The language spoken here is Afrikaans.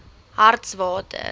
hartswater